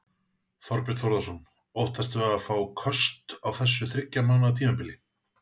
Þorbjörn Þórðarson: Óttastu að fá köst á þessu þriggja mánaða tímabili?